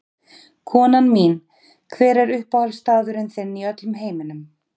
Konan mín Hver er uppáhaldsstaðurinn þinn í öllum heiminum?